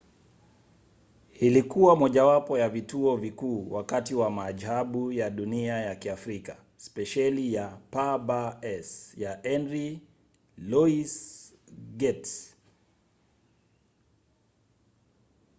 ilikuwa mojawapo ya vituo vikuu wakati wa maajabu ya dunia ya kiafrika spesheli ya pbs ya henry louis gates.